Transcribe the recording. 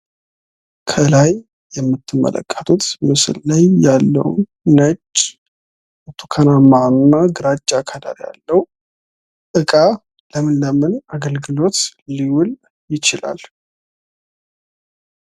ከላይ የምትመለከቱት ምስል ላይ ያለው ነጭ ፣ ብርቱካናማ እና ግራጫ ቀለም ያለው እቃ ለምን ለምን አገልግሎት ሊዉል ይችላል።